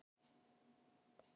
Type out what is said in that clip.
Hann fer á morgun.